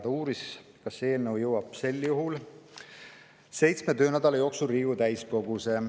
Ta uuris, kas see eelnõu jõuab sel juhul seitsme töönädala jooksul Riigikogu täiskogusse.